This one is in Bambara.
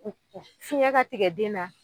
Fiɲɛ ka tigɛ den na.